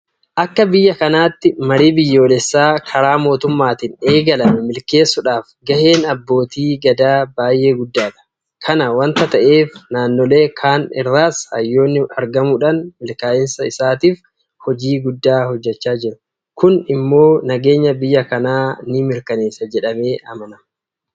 Akka biyya kanaatti marii biyyoolessaa karaa mootummaatiin eegalame milkeessuudhaaf gaheen abbootii gadaa baay'ee guddaadha. Kana waanta ta'eef naannolee kaan irraas hayyoonni argamuudhaan milkaa'insa isaatiif hojii guddaa hojjechaa jiru. Kun immoo nageenya biyya kanaa ni mirkaneessa jedhamee amanama.